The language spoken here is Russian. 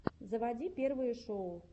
заводи первые шоу